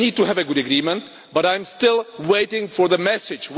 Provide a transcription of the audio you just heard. We need to have a good agreement, but I am still waiting for the message.